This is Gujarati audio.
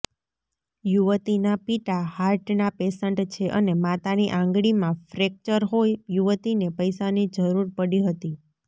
યુવતીના પિતા હાર્ટના પેશન્ટ છે અને માતાની આંગળીમાં ફ્રેક્ચર હોઈ યુવતીને પૈસાની જરૂર પડી હતી